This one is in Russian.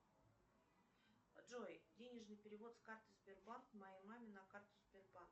джой денежный перевод с карты сбербанк моей маме на карту сбербанк